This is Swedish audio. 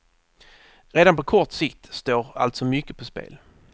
Redan på kort sikt står alltså mycket på spel.